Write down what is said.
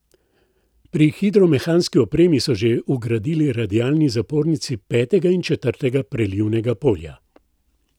Pri hidromehanski opremi so že vgradili radialni zapornici petega in četrtega prelivnega polja.